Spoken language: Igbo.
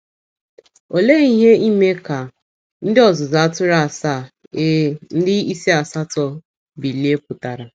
Olee ihe ime ka “ ndị ọzụzụ atụrụ asaa, ee, ndị isi asatọ ” bilie pụtara?